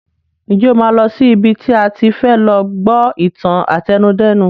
Ǹjẹ́ o máa lọ sí ibi tí a ti fẹ lọ gbọ́ ìtàn àtẹnudẹ́nu?